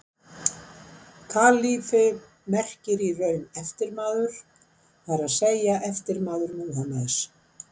Kalífi merkir í raun eftirmaður, það er að segja eftirmaður Múhameðs.